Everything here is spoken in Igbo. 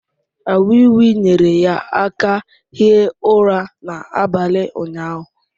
A wii wii nyere ya aka hie ụra n’abalị ụnyahụ